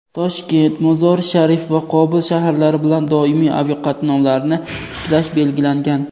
Toshkent – Mozori-Sharif va Qobul shaharlari bilan doimiy aviaqatnovlarni tiklash belgilangan.